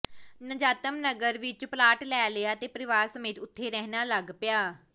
ਨਜ਼ਾਤਮ ਨਗਰ ਵਿੱਚ ਪਲਾਟ ਲੈ ਲਿਆ ਤੇ ਪਰਿਵਾਰ ਸਮੇਤ ਉੱਥੇ ਰਹਿਣ ਲੱਗ ਪਿਆ